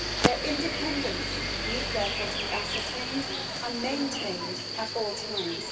Their independence needs, therefore, to be ascertained and maintained at all times.